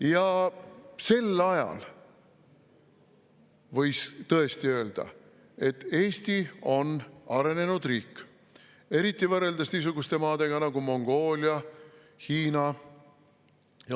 Ja sel ajal võis tõesti öelda, et Eesti on arenenud riik, eriti võrreldes niisuguste maadega nagu Mongoolia või Hiina.